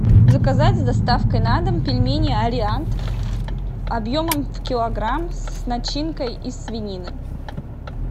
заказать с доставкой на дом пельмени ариант объемом в килограмм с начинкой из свинины